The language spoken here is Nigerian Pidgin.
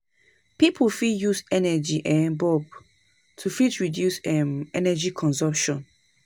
Pipo fit use energy um bulb to fit reduce um energy consumption